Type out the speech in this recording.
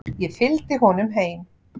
Ég fylgdi honum heim.